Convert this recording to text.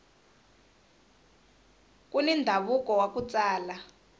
kuni ndhavuko waku tsala